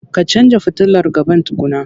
Ka canja futilar gaban tukunna.